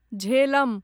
Jhelum